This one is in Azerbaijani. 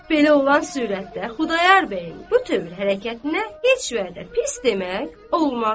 Belə olan sürətdə Xudayar bəyin bu tövr hərəkətinə heç vədə pis demək olmaz.